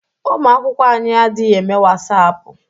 Ụmụ akwụkwọ anyị adịghị eme Wasaapụ.